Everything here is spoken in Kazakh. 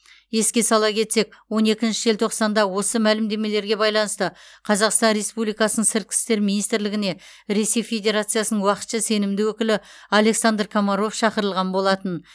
еске сала кетсек он екінші желтоқсанда осы мәлімдемелерге байланысты қазақстан республикасының сыртқы істер министрлігіне ресей федерациясының уақытша сенімді өкілі александр комаров шақырылған болатын